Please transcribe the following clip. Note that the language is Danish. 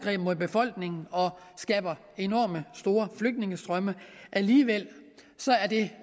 mod befolkningen og skaber enormt store flygtningestrømme alligevel er det